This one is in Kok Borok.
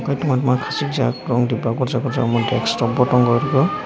bufaang ma kis jaa koso koso desto bo tongo obo.